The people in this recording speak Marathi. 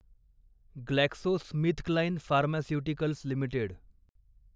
GlaxoSmithKline pharmaceuticals limited